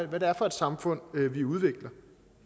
hvad det er for et samfund vi udvikler